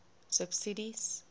subsidies